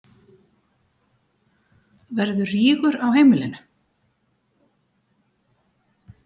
Verður rígur á heimilinu?